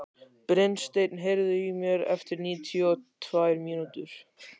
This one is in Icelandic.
Brynsteinn, heyrðu í mér eftir níutíu og tvær mínútur.